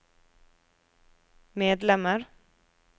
medlemmer